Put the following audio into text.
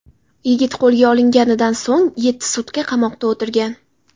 Yigit qo‘lga olinganidan so‘ng yetti sutka qamoqda o‘tirgan.